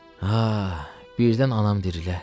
Ah, birdən anam dirilə.